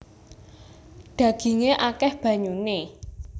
Dhagingé akèh banyuné